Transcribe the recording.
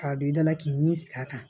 K'a don i dala k'i ni sigi a kan